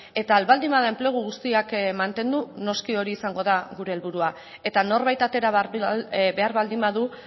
eta ahal baldin bada enplegu guztiak mantendu noski hori izango da gure helburua eta norbait atera behar baldin badu